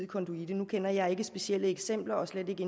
konduite nu kender jeg ikke til specielle eksempler og slet ikke